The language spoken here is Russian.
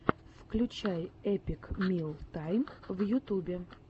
включай эпик мил тайм в ютьюбе